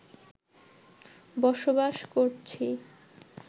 বসবাস করছি